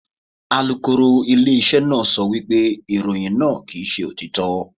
Alukoro ilé iṣẹ́ náà sọ wípé ìròyìn náà kì ń ṣe òtítọ́.